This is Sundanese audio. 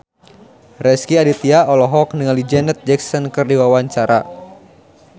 Rezky Aditya olohok ningali Janet Jackson keur diwawancara